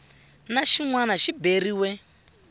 na xin wana xi beriwa